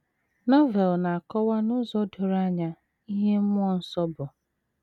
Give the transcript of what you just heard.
Novel na - akọwa n’ụzọ doro anya ihe mmụọ nsọ bụ.